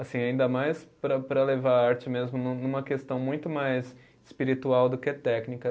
Assim, ainda mais para para levar a arte mesmo num numa questão muito mais espiritual do que técnica.